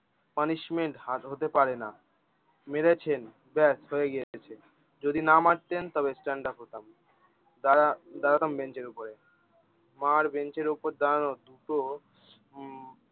punishment হাত হতে পারে না মেরেছেন ব্যস হয়ে গিয়েছে যদি না মারতেন তবে stand up হতাম দাড়া দাড়াতাম বেঞ্চের উপরে আমার বেঞ্চের দাঁড়ানো দুটো হম